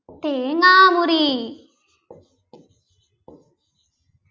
തേങ്ങാമുറി